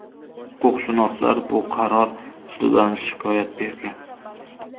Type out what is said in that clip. Huquqshunoslar bu qaror ustidan shikoyat bergan.